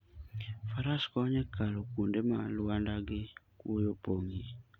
Faras konyo e kalo kuonde ma lwanda gi kwoyo opong'ie.